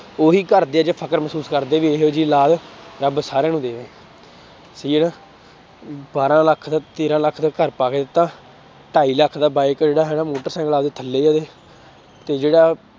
ਉਹੀ ਘਰਦੇ ਅੱਜ ਫ਼ਕਰ ਮਹਿਸੂਸ ਕਰਦੇ ਆ ਵੀ ਇਹੋ ਜਿਹੀ ਅੋਲਾਦ ਰੱਬ ਸਾਰਿਆਂ ਨੂੰ ਦੇਵੇ ਸਹੀ ਹੈ ਨਾ ਬਾਰਾਂ ਲੱਖ ਦਾ ਤੇਰਾਂ ਲੱਖ ਦਾ ਘਰ ਪਾ ਕੇ ਦਿੱਤਾ, ਢਾਈ ਲੱਖ ਦਾ ਬਾਈ ਕੋਲ ਜਿਹੜਾ ਹੈਗਾ ਮੋਟਰਸਾਇਕਲ ਆਪਦੇ ਥੱਲੇ ਉਹਦੇ, ਤੇ ਜਿਹੜਾ